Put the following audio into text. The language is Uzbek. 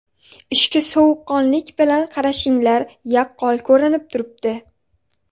Ishga sovuqqonlik bilan qarashinglar yaqqol ko‘rinib turibdi.